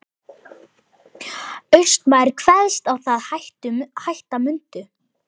Austmaður kveðst á það hætta mundu.